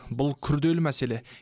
бұл күрделі мәселе